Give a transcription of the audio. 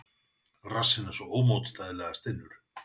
Rassinn svo ómótstæðilega stinnur.